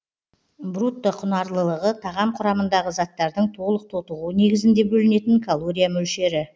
брутто құнарлылығы тағам құрамындағы заттардың толық тотығуы негізінде бөлінетін калория мөлшері